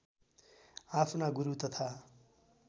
आफ्ना गुरू तथा